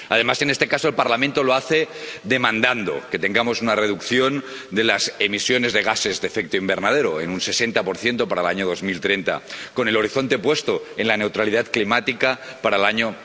Además, en este caso, el Parlamento lo hace demandando que tengamos una reducción de las emisiones de gases de efecto invernadero de un 60 para el año 2030, con el horizonte puesto en la neutralidad climática para el año